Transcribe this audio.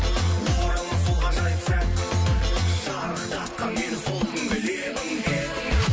оралмас сол ғажайып сәт шарықтатқан мені сол күнгі лебің лебің